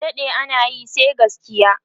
adaɗe anayi sai gaskiya!